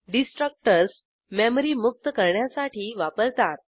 destructors memory मुक्त करण्यासाठी वापरतात